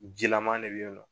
Jilaman de be yen nɔ